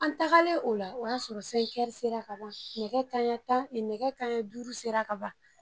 An tagalen o la o y'a sɔrɔ sera ka ban nɛgɛ kaɲɛ tan nɛgɛ kaɲɛ duuru sera ka ban